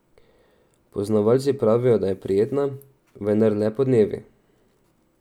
Poznavalci pravijo, da je prijetna, vendar le podnevi.